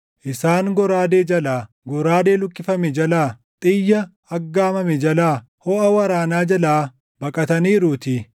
Isaan goraadee jalaa, goraadee luqqifame jalaa, xiyya aggaamame jalaa, hoʼa waraanaa jalaa baqataniiruutii.